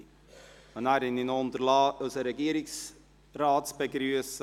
Ich habe es unterlassen, unseren Regierungsrat zu begrüssen.